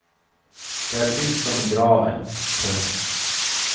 Det är tyst som i graven. punkt